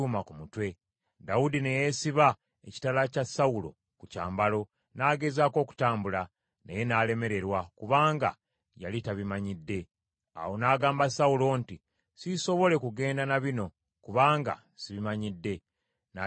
Dawudi ne yeesiba ekitala kya Sawulo ku kyambalo, n’agezaako okutambula, naye n’alemererwa, kubanga yali tabimanyidde. Awo n’agamba Sawulo nti, “Siisobole kugenda na bino kubanga sibimanyidde.” N’abyeyambulamu.